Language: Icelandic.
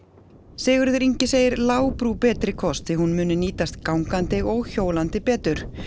Sigurður Ingi segir betri kost því hún muni nýtast gangandi og hjólandi betur